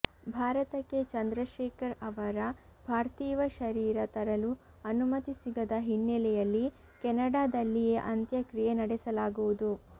ಭಾರತಕ್ಕೆ ಚಂದ್ರಶೇಖರ್ ಅವರ ಪಾರ್ಥಿವ ಶರೀರ ತರಲು ಅನುಮತಿ ಸಿಗದ ಹಿನ್ನಲೆಯಲ್ಲಿ ಕೆನಡಾದಲ್ಲಿಯೇ ಅಂತ್ಯಕ್ರಿಯೆ ನಡೆಸಲಾಗುವುದು